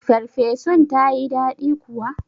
Ferfesun tayi daɗi kuwa?